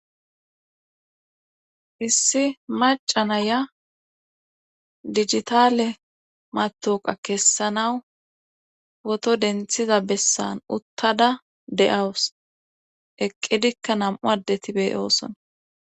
issi macanaya digitaale matoqa kessanawu woto denthiza bessan uttada de7awus eqqidikka nam7u addetibey oosona